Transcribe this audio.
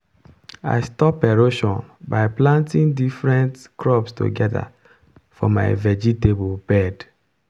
i stop erosion by planting different crops together for my vegetable bed.